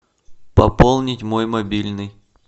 пополнить мой мобильный